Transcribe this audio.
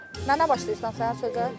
Mənə başlayırsan sənə sözə.